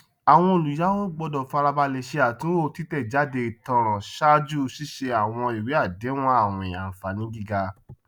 àwọn olùyàwó gbọdọ farabalẹ ṣe àtúnwò títẹjáde ìtanràn ṣáájú ṣíṣe sí àwọn ìwé àdéhùn àwìn ànfàànígíga